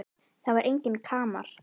Það var enginn kamar.